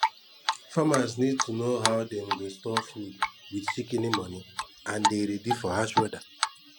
farmers need to know how dem go store food wit shikini moni and dey ready for hash weda